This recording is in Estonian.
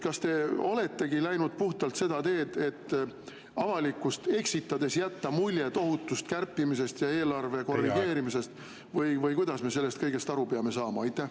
Kas te oletegi läinud puhtalt seda teed, et avalikkust eksitades jätta mulje tohutust kärpimisest ja eelarve korrigeerimisest, või kuidas me sellest kõigest aru peame saama?